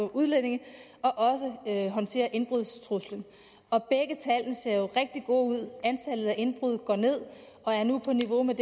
udlændinge og også håndtere indbrudstruslen og begge tal ser jo rigtig gode ud antallet af indbrud går ned og er nu på niveau med